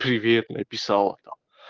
привет написала там